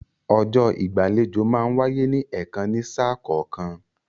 Ọjọ́ ìgbàlejò máa ń wáyé ní ẹ̀kan ní sà kọ̀ọ̀kan